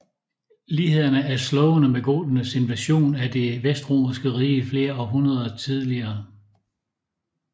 Lighederne er slående med goternes invasion af Det vestromerske Rige flere århundreder tidligere